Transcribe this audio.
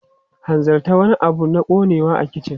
Hanzarta, wani abu na ƙonewa a kicin!